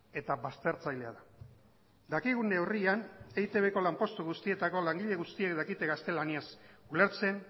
eta baztertzailea da dakigun neurrian eitbko lanpostu guztietako langile guztiek dakite gaztelaniaz ulertzen